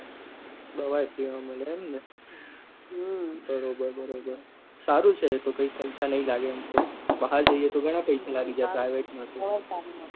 દવા એ free માં મલે એમ ને બરોબર બરોબર સારું છે એ તો કઈ પૈસા નહી લાગે એમ તો બહાર જઈએ તો ઘણા પેસા લાગી જાય private માં તો